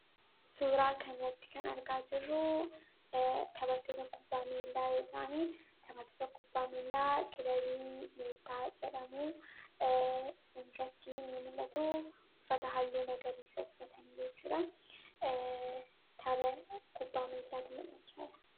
Suura kana irratti argaa kan jirru taphattoota kubbaa miilaa yoo ta'an kilabii meettaa jedhamutu mul'ata. Uffata halluu magariisaa uffatanii kan jiranidha.